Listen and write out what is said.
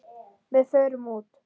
Við förum út.